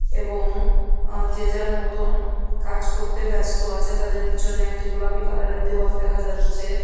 এবং আ যে যার মতন কাজ করতে ব্যাস্ত আছে। তাদের পিছনে একটি গোলাপি কালার -এর দেয়াল দেখা যাছে ।